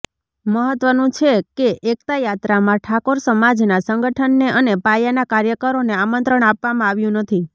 મહત્વનું છે કે એકતા યાત્રામાં ઠાકોર સમાજના સંગઠનને અને પાયાના કાર્યકરોને આમંત્રણ આપવામાં આવ્યુ નથી